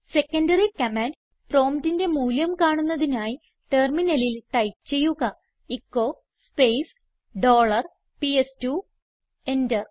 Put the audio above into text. secondary command പ്രോംപ്റ്റിന്റെ മൂല്യം കാണുന്നതിനായി ടെർമിനലിൽ ടൈപ്പ് ചെയ്യുക echo space dollar PS two enter